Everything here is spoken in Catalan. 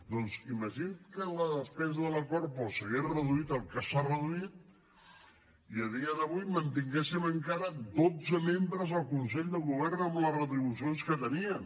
doncs imagini’s que la despesa de la corpo s’hagués reduït el que s’ha reduït i a dia d’avui mantinguéssim encara dotze membres al consell de govern amb les retribucions que tenien